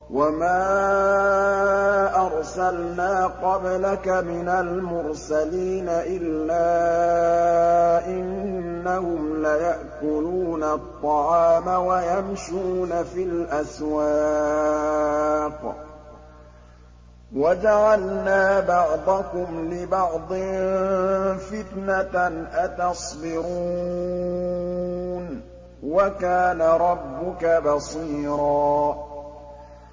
وَمَا أَرْسَلْنَا قَبْلَكَ مِنَ الْمُرْسَلِينَ إِلَّا إِنَّهُمْ لَيَأْكُلُونَ الطَّعَامَ وَيَمْشُونَ فِي الْأَسْوَاقِ ۗ وَجَعَلْنَا بَعْضَكُمْ لِبَعْضٍ فِتْنَةً أَتَصْبِرُونَ ۗ وَكَانَ رَبُّكَ بَصِيرًا